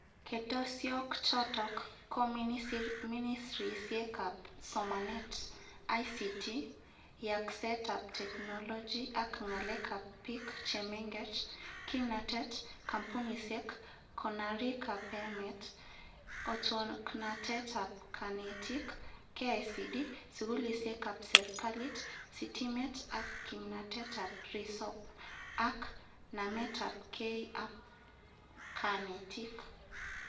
Ketesyok chootok ko minisrisiek ap somanet, ICT, Yaakseet ap teknoloji ak ng'alek ap piik chemengech, kimnatet, kampunisiek, konoraik ap emet, otwoknatet ap kanetiik, KICD, sugulisiek ap serkaliit, sitimet ak kimanatet ap risop, ak nametap kei ap kanetiik.